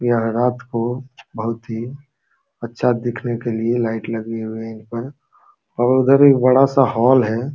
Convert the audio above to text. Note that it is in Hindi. यह रात को बोहोत ही अच्छा दिखने के लिए लाइट लगी हुई हैं और उधर एक बड़ा सा हॉल है।